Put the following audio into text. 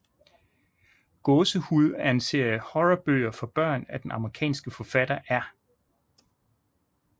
Gåsehud er en serie af horrorbøger for børn af den amerikanske forfatter R